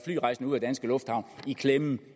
flyrejsende ud af danske lufthavne i klemme